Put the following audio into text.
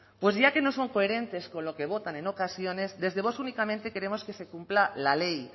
pues ya que no son coherentes con lo que votan en ocasiones desde vox únicamente queremos que se cumpla la ley